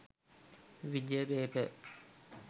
wijaya paper